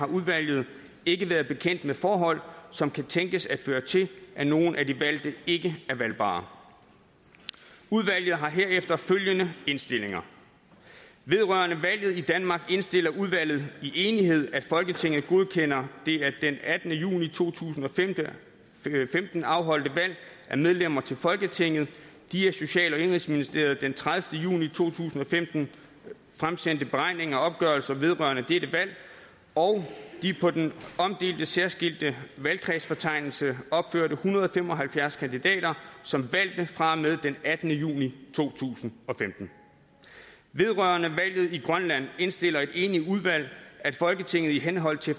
udvalget ikke bekendt med forhold som kunne tænkes at føre til at nogle af de valgte ikke er valgbare udvalget har herefter følgende indstillinger vedrørende valget i danmark indstiller udvalget i enighed at folketinget godkender det af den attende juni to tusind og femten afholdte valg af medlemmer til folketinget de af social og indenrigsministeriet den tredivete juni to tusind og femten fremsendte beregninger og opgørelser vedrørende dette valg og de på den omdelte særskilte valgkredsfortegnelse opførte en hundrede og fem og halvfjerds kandidater som valgte fra og med den attende juni to tusind og femten vedrørende valget i grønland indstiller et enigt udvalg at folketinget i henhold til